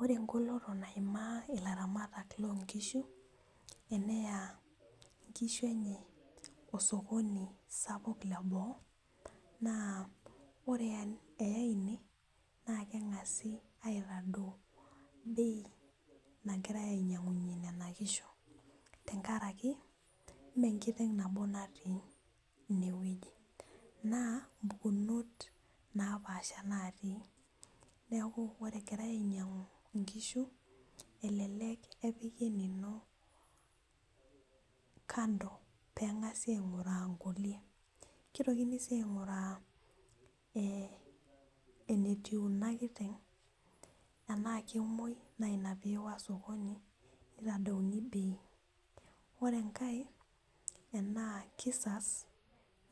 Ore engoloto naimaa ilaramatak lonkishu eneya inkishu enye osokoni sapuk leboo naa ore eyai ine naa keng'asi aitadou bei nagirae ainyiang'unyie nena kishu tenkaraki imenkiteng nabo natii inewueji naa mpukunot napaasha natii neku ore egirae ainyiang'u inkishu elelek epiki enino kando peng'asi aing'uraa nkulie kitokini sii aing'uraa eh enetiu ina kiteng enaa kemuoi naa ina piiwa sokoni nitadouni bei ore enkae enaa kisas